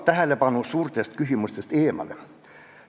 ... tähelepanu suurtest küsimustest eemale.